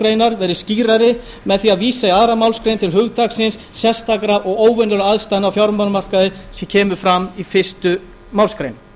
grein verði skýrari með því að vísa í annarri málsgrein til hugtaksins sérstakra og óvenjulegra aðstæðna á fjármálamarkaði sem fram kemur í fyrstu málsgrein